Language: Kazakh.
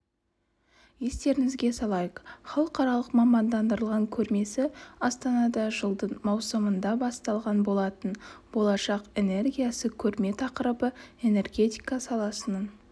естеріңізге салайық халықаралық мамандандырылған көрмесі астанада жылдың маусымында басталған болатын болашақ энергиясы көрме тақырыбы энергетика саласының